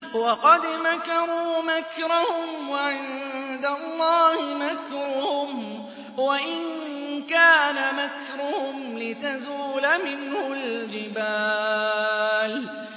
وَقَدْ مَكَرُوا مَكْرَهُمْ وَعِندَ اللَّهِ مَكْرُهُمْ وَإِن كَانَ مَكْرُهُمْ لِتَزُولَ مِنْهُ الْجِبَالُ